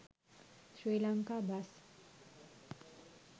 sri lanka bus